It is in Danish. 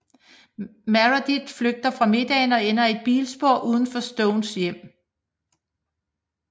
Meredith flygter fra middagen og ender i et biluheld uden for Stones hjem